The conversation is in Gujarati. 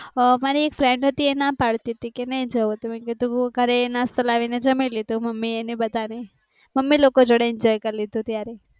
આહ મારી friend હતી એ ના પાડ તી તી કે નઈ જવું તો મેં કીધું કરેં. નાસ્તો લાવી ને જમી લેતો મમ્મી એને બધાને મમ્મી લોકો જોડે enjoy કરીલીધું તો ત્યારે.